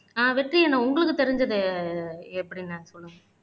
ஆஹ் வெற்றி அண்ணா உங்களுக்கு தெரிஞ்சதை எப்படி அண்ணா சொல்லுங்க